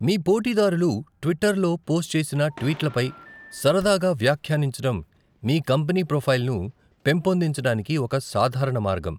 మీ పోటీదారులు ట్విట్టర్ లో పోస్ట్ చేసిన ట్వీట్లపై సరదాగా వ్యాఖ్యానించడం మీ కంపెనీ ప్రొఫైల్ను పెంపొందించడానికి ఒక సాధారణ మార్గం.